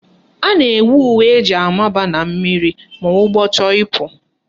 A na-enwe uwe eji amaba na mmiri ma ụgbọ chọrọ ikpu